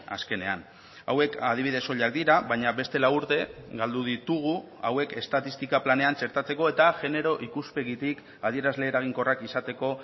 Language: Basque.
azkenean hauek adibide soilak dira baina beste lau urte galdu ditugu hauek estatistika planean txertatzeko eta genero ikuspegitik adierazle eraginkorrak izateko